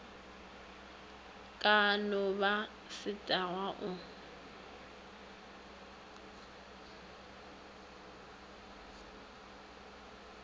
ka no ba setagwa o